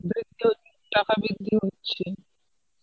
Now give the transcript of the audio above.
টাকা বৃদ্ধি হচ্ছে.